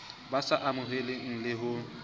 bo sa amoheleheng le ho